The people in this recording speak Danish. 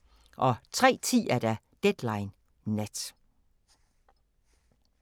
03:10: Deadline Nat